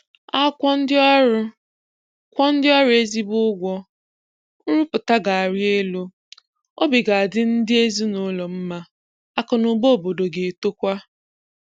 A kwụọ ndị ọrụ kwụọ ndị ọrụ ezigbo ụgwọ, nrụpụta ga-arị elu, obi ga-adị ndị ezinaụlọ mma, akụnaụba obodo ga-etokwa